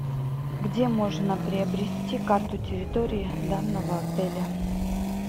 где можно приобрести карту территории данного отеля